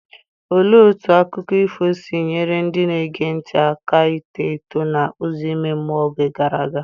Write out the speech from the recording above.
Olee otú akụkọ ifo si nyere ndị na-ege ntị aka ito eto n’ụzọ ime mmụọ n’oge gara aga?